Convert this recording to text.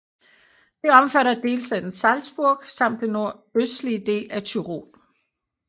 Det omfatter delstaten Salzburg samt den nordøstlige del af Tyrol